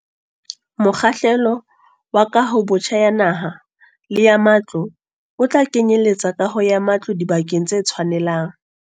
Mokgahlelo wa kahobotjha ya naha le ya matlo o tla kenyeletsa kaho ya matlo dibakeng tse tshwanelang.